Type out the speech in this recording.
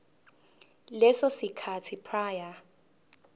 leso sikhathi prior